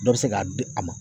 Dɔ bɛ se k'a di a ma